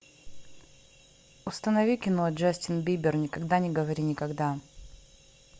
установи кино джастин бибер никогда не говори никогда